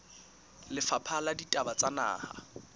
lefapha la ditaba tsa naha